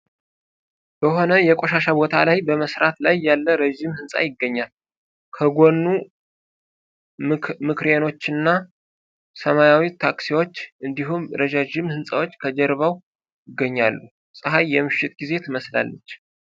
በሆነ የቆሻሻ ቦታ ላይ በመሠራት ላይ ያለ ረጅም ህንፃ ይገኛል ከጓኑ ምክሬኖችና ሰማያዊ ታክሲዎች እንዲሁም ረጃጅም ህንጻዎች ከጀርባው ይገኛሉ ፀሐይ የምሽት ጊዜ ትመስላለች ።